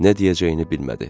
Nə deyəcəyini bilmədi.